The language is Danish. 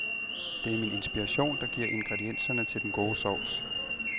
Det er min inspiration, der giver ingredienserne til den gode sovs.